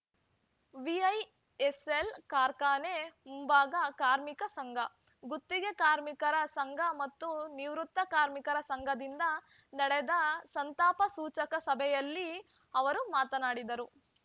VISL ಕಾರ್ಖಾನೆ ಮುಂಭಾಗ ಕಾರ್ಮಿಕ ಸಂಘ ಗುತ್ತಿಗೆ ಕಾರ್ಮಿಕರ ಸಂಘ ಮತ್ತು ನಿವೃತ್ತ ಕಾರ್ಮಿಕರ ಸಂಘದಿಂದ ನಡೆದ ಸಂತಾಪ ಸೂಚಕ ಸಭೆಯಲ್ಲಿ ಅವರು ಮಾತನಾಡಿದರು